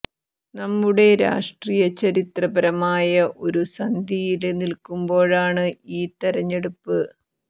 നമ്മുടെ രാഷ്ട്രീയം ചരിത്രപരമായ ഒരു സന്ധിയില് നില്ക്കുമ്പോഴാണ് ഈ തെരഞ്ഞെടുപ്പ്